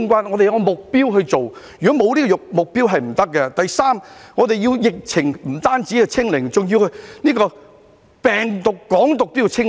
我們要訂下目標，沒有目標是不行的；第三，我們不單要疫情"清零"，病毒、"港獨"也要"清零"。